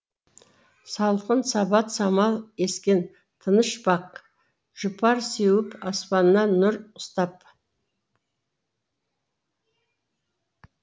салқын сабат самал ескен тыныш бақ жұпар сеуіп аспанына нұр ұстап